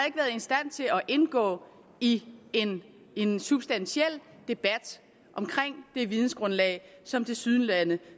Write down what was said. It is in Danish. indgå i en substantiel debat omkring det vidensgrundlag som tilsyneladende